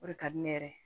O de ka di ne yɛrɛ ye